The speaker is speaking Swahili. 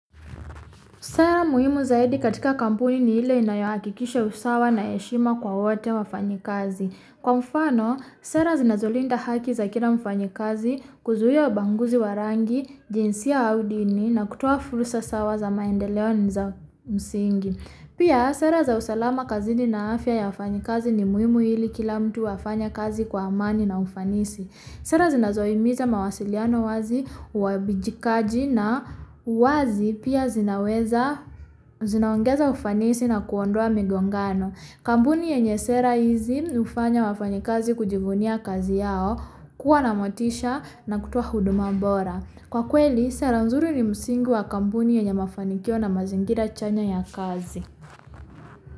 Sera muhimu zaidi katika kampuni ni ile inayohakikisha usawa na heshima kwa wote wafanyikazi. Kwa mfano, sera zinazolinda haki za kila mfanyikazi kuzuia ubaguzi wa rangi, jinsia au dini na kutoa fursa sawa za maendeleo ni za msingi. Pia sera za usalama kazini na afya ya wafanyikazi ni muhimu ili kila mtu afanye kazi kwa amani na ufanisi. Sera zinazohimiza mawasiliano wazi, uwajibikaji na uwazi pia zinaweza, zionaongeza ufanisi na kuondoa migongano. Kampuni yenye sera hizi hufanya wafanyikazi kujivunia kazi yao, kuwa na motisha na kutoa huduma bora. Kwa kweli, sera nzuri ni msingi wa kampuni yenye mafanikio na mazingira chanya ya kazi.